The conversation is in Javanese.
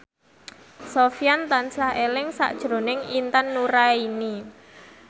Sofyan tansah eling sakjroning Intan Nuraini